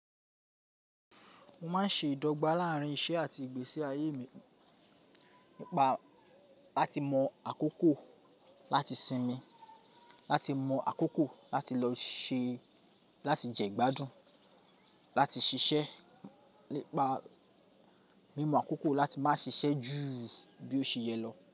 Mo máa ń ṣe ìdọ́gba láàrín iṣẹ́ àti ìgbésí ayé mi nípa láti mọ àkókò láti sinmi, láti mọ àkókò láti jẹ ìgbádùn, láti ṣiṣẹ́ nípa mí mọ àkókò láti máa ṣiṣẹ́ ju bí ó ṣe yẹ lọ.